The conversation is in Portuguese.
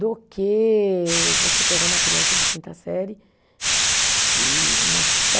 Do que você pegar uma criança de quinta série e massificar.